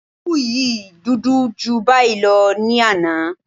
Òwú yìí dúdú ju báyìí lọ ní àná